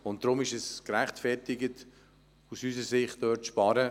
Deshalb ist es aus unserer Sicht gerechtfertigt, hier Einsparungen zu machen.